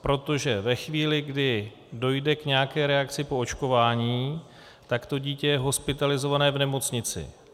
Protože ve chvíli, kdy dojde k nějaké reakci po očkování, tak to dítě je hospitalizované v nemocnici.